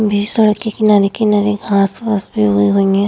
किनारे-किनारे घास वास भी उगी हुई है।